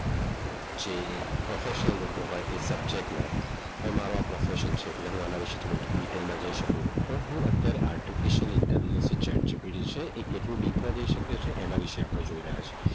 જે પ્રોફેશન લોકો હોય એ સબ્જેક્ટ ના હવે આ મારો પ્રોફેશન છે એટલે હું અને વિશે થોડું ડિટેલમાં જઈ શકું હું અત્યારે artificial intelligent જે છે જિલ્લો ડીપમાં જઈ શકે એના વિશે આપણે જોઈ રહ્યા છીએ.